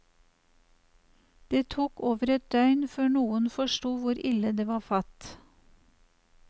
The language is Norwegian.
Det tok over et døgn før noen forsto hvor ille det var fatt.